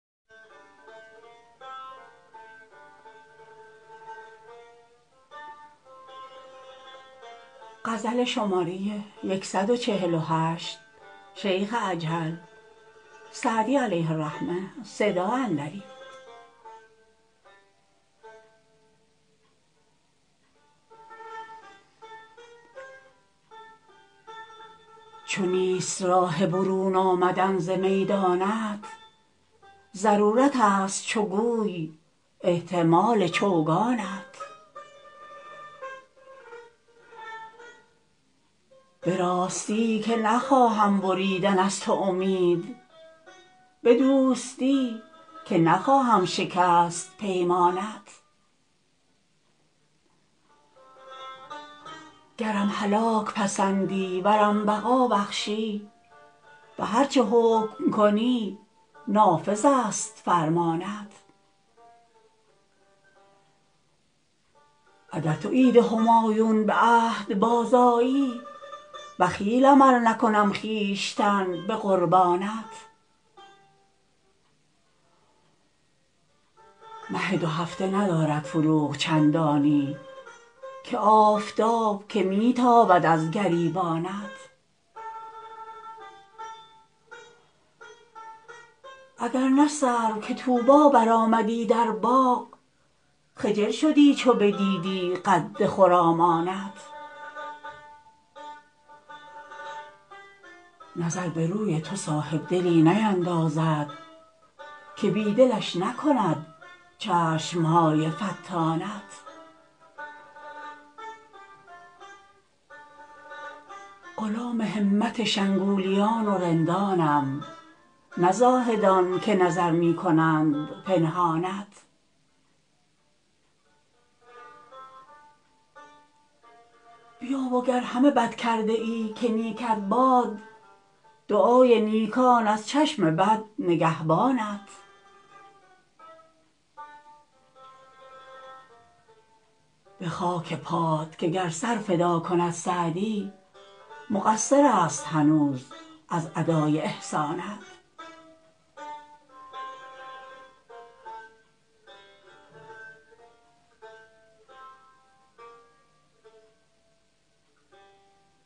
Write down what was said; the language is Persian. چو نیست راه برون آمدن ز میدانت ضرورتست چو گوی احتمال چوگانت به راستی که نخواهم بریدن از تو امید به دوستی که نخواهم شکست پیمانت گرم هلاک پسندی ورم بقا بخشی به هر چه حکم کنی نافذست فرمانت اگر تو عید همایون به عهد بازآیی بخیلم ار نکنم خویشتن به قربانت مه دوهفته ندارد فروغ چندانی که آفتاب که می تابد از گریبانت اگر نه سرو که طوبی برآمدی در باغ خجل شدی چو بدیدی قد خرامانت نظر به روی تو صاحبدلی نیندازد که بی دلش نکند چشم های فتانت غلام همت شنگولیان و رندانم نه زاهدان که نظر می کنند پنهانت بیا و گر همه بد کرده ای که نیکت باد دعای نیکان از چشم بد نگهبانت به خاک پات که گر سر فدا کند سعدی مقصرست هنوز از ادای احسانت